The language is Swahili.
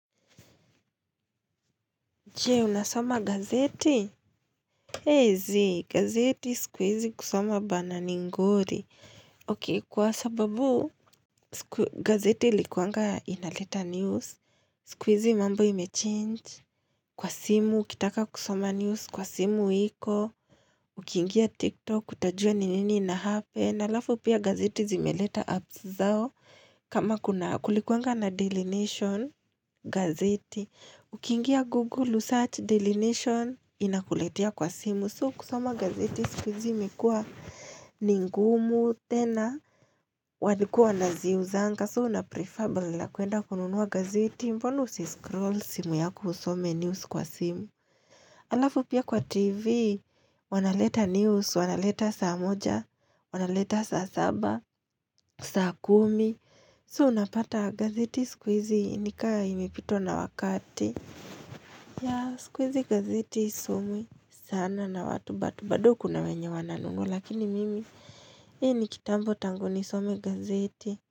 Jee, unasoma gazeti? Hey zii, gazeti siku hizi kusoma bana ni ngori. Okay, kwa sababu, gazeti ilikuanga inaleta news. Siku hizi mambo ime change. Kwa simu, ukitaka kusoma news kwa simu iko. Ukiingia TikTok, utajua ni nini inahappen na halafu pia gazeti zimeleta apps zao. Kama kuna kulikuanga na daily nation gazeti. Ukiingia Google usearch daily nation inakuletea kwa simu So kusoma gazeti sikuhizi imekuwa ningumu tena walikuwa wanaziuzanga So una prefer badala ya kuenda kununua gazeti Mbona usi scroll simu yako usome news kwa simu halafu pia kwa TV wanaleta news, wanaleta saa moja, wanaleta saa saba, saa kumi So unapata gazeti siku hizi nikama imepitwa na wakati Yeah siku hizi gazeti haisomwi sana na watu but bado kuna wenye wananunua lakini mimi mimi nikitambo tangu nisome gazeti.